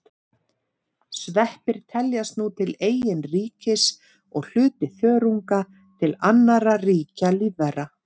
Sveppir teljast nú til eigin ríkis og hluti þörunga til annarra ríkja lífvera.